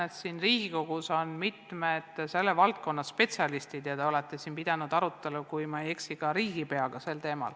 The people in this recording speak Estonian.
Ma tean, et siin Riigikogus on mitmed selle valdkonna spetsialistid ja te olete pidanud aru, kui ma ei eksi, sel teemal ka riigipeaga.